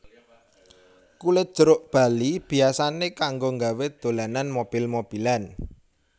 Kulit jeruk bali biyasané kanggo nggawé dolanan mobil mobilan